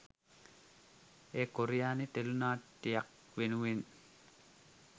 එය කොරියානු ටෙලි නාට්‍යයක් වෙනුවෙන්